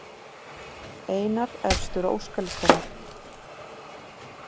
Einar efstur á óskalistanum